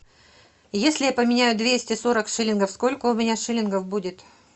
если я поменяю двести сорок шиллингов сколько у меня шиллингов будет